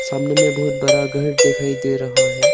सामने में बहुत बड़ा घर दिखाई दे रहा है।